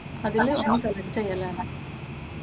അതിലൊരെണ്ണം select ചെയ്യലാണ്.